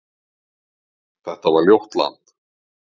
Þetta var ljótt land.